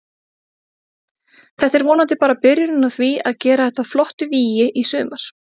Þetta er vonandi bara byrjunin á því að gera þetta að flottu vígi í sumar.